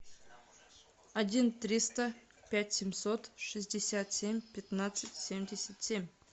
один триста пять семьсот шестьдесят семь пятнадцать семьдесят семь